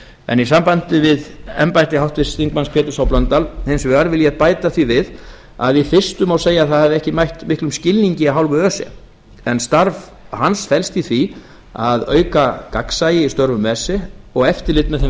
en í sambandi við embætti háttvirtur þingmaður péturs h blöndal hins vegar vil ég bæta því við að í fyrstu má segja að það hafi ekki mætt miklum skilningi af hálfu öse en starf hans felst í því að auka gagnsæi í starfsemi öse og eftirlit með þeim